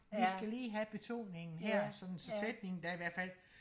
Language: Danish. vi skal lige have betoningen her sådan så sætningen da i hverfald